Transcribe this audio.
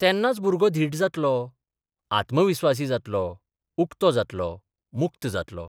तेन्नाच भुरगो धीट जातलो, आत्मविस्वासी जातलो, उक्तो जातलो, मुक्त जातलो.